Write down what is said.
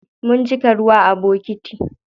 Mun cika ruwa a bokiti.